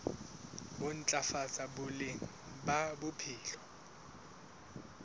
ho ntlafatsa boleng ba bophelo